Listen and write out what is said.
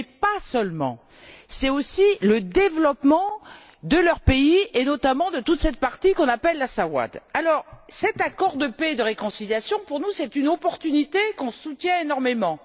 Mais pas seulement. C'est aussi le développement de leur pays et, notamment, de toute cette partie qu'on appelle la Sawâd. Cet accord de paix et de réconciliation est pour nous une opportunité que nous soutenons énormément.